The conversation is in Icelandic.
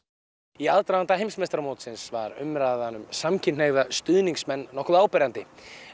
í aðdraganda heimsmeistaramótsins var umræðan um samkynhneigða stuðningsmenn nokkuð áberandi